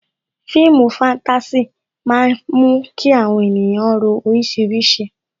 Fíìmù fatasi máa ń mú kí àwọn ènìyàn ro orísìírísìí